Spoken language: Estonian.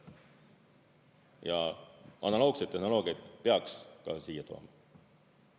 Ja analoogseid tehnoloogiaid peaks ka siia tooma.